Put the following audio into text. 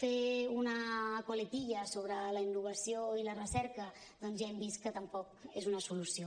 fer una coletilla sobre la innovació i la recerca doncs ja hem vist que tampoc és una solució